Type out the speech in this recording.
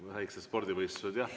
Väikesed spordivõistlused, jah.